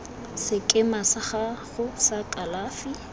sekema sa gago sa kalafi